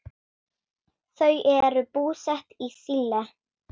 Þau eru búsett í Síle.